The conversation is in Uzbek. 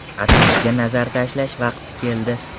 Atrofga nazar tashlash vaqti keldi.